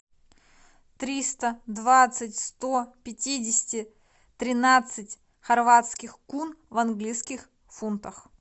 триста двадцать сто пятидесяти тринадцать хорватских кун в английских фунтах